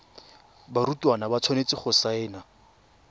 barutwana ba tshwanetse go saena